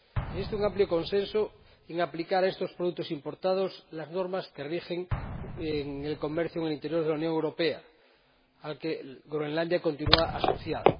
Existe un amplio consenso en aplicar a estos productos importados las normas que rigen el comercio en el interior de la Unión Europea, al que Groenlandia continúa asociada.